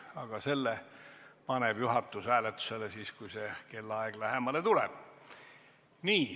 Aga selle paneb juhatus hääletusele siis, kui see kellaaeg lähemale tuleb.